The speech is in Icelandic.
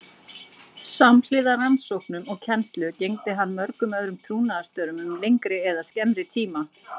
Samhliða rannsóknum og kennslu gegndi hann mörgum öðrum trúnaðarstörfum um lengri eða skemmri tíma.